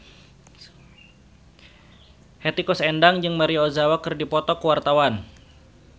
Hetty Koes Endang jeung Maria Ozawa keur dipoto ku wartawan